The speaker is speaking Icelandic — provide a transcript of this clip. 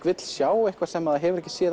vill sjá eitthvað sem það hefur ekki séð